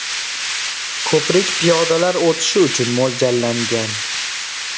Ko‘prik piyodalar o‘tishi uchun mo‘ljallangan.